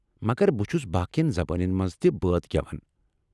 مگر بہٕ چھس باقین زبانن منٛز تہ بٲتھ گٮ۪وان۔